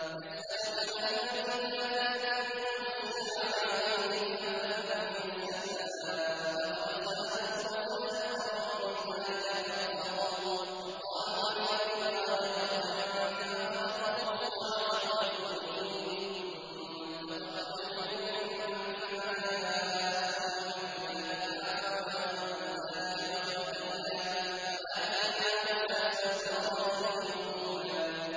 يَسْأَلُكَ أَهْلُ الْكِتَابِ أَن تُنَزِّلَ عَلَيْهِمْ كِتَابًا مِّنَ السَّمَاءِ ۚ فَقَدْ سَأَلُوا مُوسَىٰ أَكْبَرَ مِن ذَٰلِكَ فَقَالُوا أَرِنَا اللَّهَ جَهْرَةً فَأَخَذَتْهُمُ الصَّاعِقَةُ بِظُلْمِهِمْ ۚ ثُمَّ اتَّخَذُوا الْعِجْلَ مِن بَعْدِ مَا جَاءَتْهُمُ الْبَيِّنَاتُ فَعَفَوْنَا عَن ذَٰلِكَ ۚ وَآتَيْنَا مُوسَىٰ سُلْطَانًا مُّبِينًا